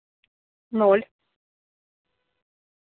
ноль